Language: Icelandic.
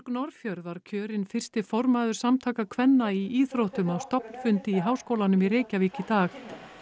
Norðfjörð var kjörin fyrsti formaður Samtaka kvenna í íþróttum á stofnfundi í Háskólanum í Reykjavík í dag